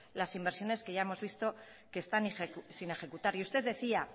las inversiones que ya hemos visto que están sin ejecutar y usted decía